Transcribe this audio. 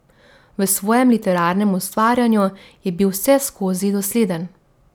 V svojem literarnem ustvarjanju je bil vseskozi dosleden.